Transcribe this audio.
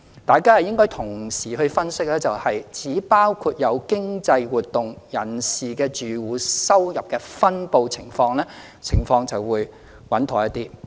大家應該同時分析包括有經濟活動人士的住戶收入的分布情況，情況就會穩妥一些。